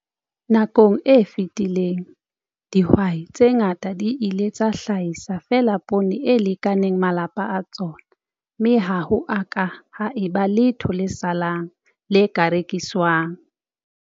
Nakong e fetileng, dihwai tse ngata di ile tsa hlahisa feela poone e lekaneng malapa a tsona, mme ha ho a ka ha eba letho le salang, le ka rekiswang.